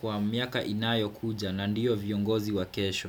kwa miaka inayo kuja na ndiyo viongozi wakesho.